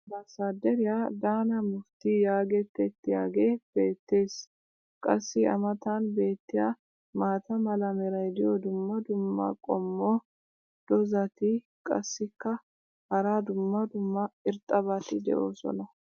Ambaasaaderiya daana mufitii yaagetettiyaagee beetees. qassi a matan beetiya maata mala meray diyo dumma dumma qommo dozzati qassikka hara dumma dumma irxxabati doosona.